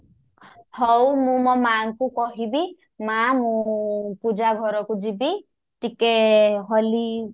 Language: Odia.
ହଉ ମୁଁ ମୋ ମାଆଙ୍କୁ କହିବି ମାଆ ମୁଁ ପୂଜା ଘରକୁ ଯିବି ଟିକେ ହୋଲି